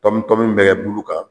Tɔmi tɔmi min bɛ kɛ bulu ka